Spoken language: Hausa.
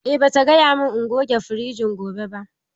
A'a bata gaya min in goge firijin gobe ba.